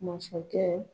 Masakɛ